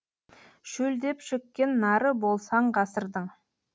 шөлдеп шөккен нары болсаң ғасырдың